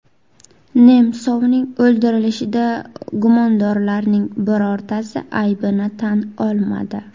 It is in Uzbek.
Nemsovning o‘ldirilishida gumondorlarning birortasi aybini tan olmadi.